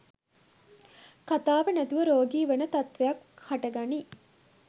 කථාව නැතිව රෝගී වන තත්ත්වයක් හටගනී